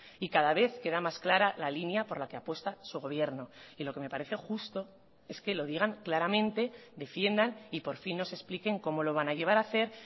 y cada vez queda más clara la línea por la que apuesta su gobierno y lo que me parece justo es que lo digan claramente defiendan y por fin nos expliquen cómo lo van a llevar a hacer